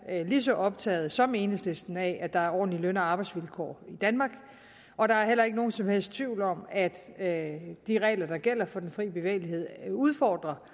er lige så optaget som enhedslisten af at der er ordentlige løn og arbejdsvilkår i danmark og der er heller ikke nogen som helst tvivl om at at de regler der gælder for den fri bevægelighed udfordrer